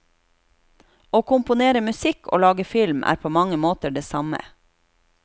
Å komponere musikk og lage film er på mange måter det samme.